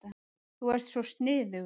Þú ert svo sniðugur.